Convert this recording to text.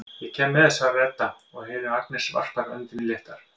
Ég kem með, svarar Edda og heyrir að Agnes varpar öndinni léttar.